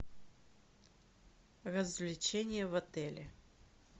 развлечения в отеле